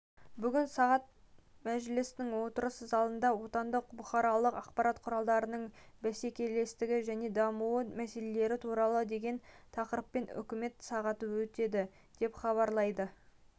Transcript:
бүгін сағат мәжілістің отырыс залында отандық бұқаралық ақпарат құралдарының бәсекелестігі және дамуы мәселелері туралы деген тақырыппен үкімет сағаты өтеді деп хабарлайды